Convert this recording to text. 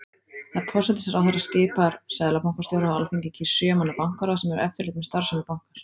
Forsætisráðherra skipar seðlabankastjóra og Alþingi kýs sjö manna bankaráð sem hefur eftirlit með starfsemi bankans.